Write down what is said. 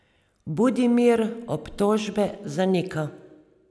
Budimir obtožbe zanika.